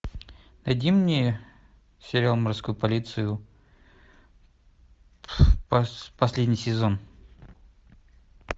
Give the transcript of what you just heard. найди мне сериал морскую полицию последний сезон